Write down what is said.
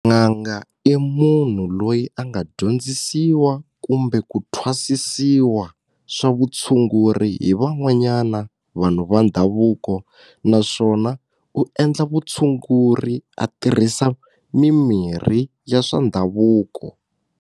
N'anga i munhu loyi a nga dyondzisiwa kumbe ku thwasisiwa swa vutshunguri hi van'wanyana vanhu va ndhavuko naswona u endla vutshunguri a tirhisa mimirhi ya swa ndhavuko.